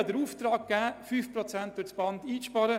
Ich gab den Auftrag, 5 Prozent durchs Band einzusparen.